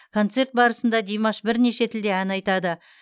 концерт барысында димаш бірнеше тілде ән айтады